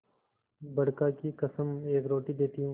बड़का की कसम एक रोटी देती हूँ